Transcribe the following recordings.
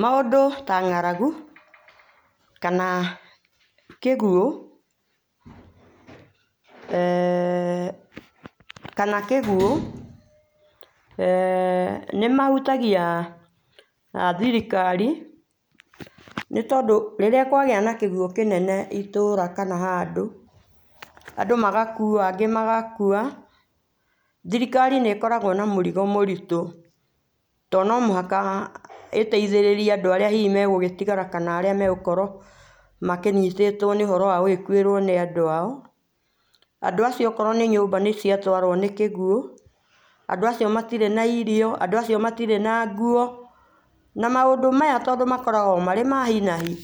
Maũndũ ta ng'aragũ kana kĩguũ eeh kana kĩguũ eeh nĩmahũtagia a thirikari nĩtondũ rĩrĩa kwagĩa na kĩguũ kĩnene ĩtũra kana handũ andũ magakũo angĩ magakua thirikari nĩ ĩkoragwo na mũrigo mũritũ to nomũhaka ĩteithĩrĩrie andũ arĩa hihĩ megũgĩtigara kana arĩa megũkorwo makĩnyitĩtwo nĩ ũhoro wa gũgĩkwĩrwo nĩ andũ ao, andũ acio okorwo nĩ nyũmba nĩ ciatwarwo nĩ kĩguũ andũ acio maitirĩ na irio, andũ acio matĩrĩ na ngũo na maũndũ maya tondũ makoragwo marĩ ma hinahi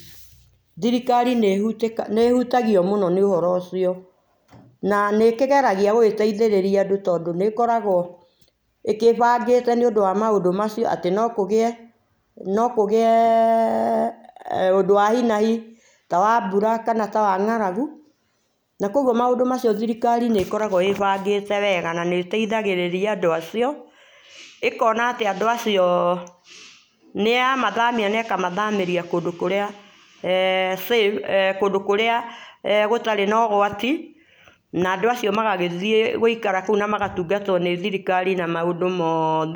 thirikari nĩ ĩ hũtagio mũno nĩ ũhoro ũcio na nĩ ĩkĩgeragia gũgĩteithĩrĩria andũ tondũ nĩ ĩkoragwo ĩkĩbangĩte nĩ ũndũ wa maũndũ macio atĩ no kũgĩe no kũgĩe[eeh] ũndũ wa hinahi ta wa mbũra kana ta wa ng'aragũ na kũogũo maũndũ ta macio thirikari nĩ ĩkoragwo ĩ bangĩte wega na nĩ ĩteithagĩrĩria andũ acio ĩkoa atĩ andũ acio nĩya mwathamia nekamathamĩria kũndũ kũria [eeh]safe[eeh]kũndũ kũrĩa eeh gũtarĩ na ũgwati na andũ acio magagĩthiĩ gũĩkara na magagĩtũngatwo nĩ thirikari maũndũ mothe.